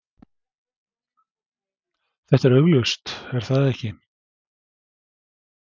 Þetta er augljóst, er það ekki?